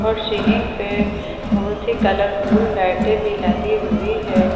और सीलिंग पे बहुत ही कलरफुल लाइटें भी लगी हुई हैं।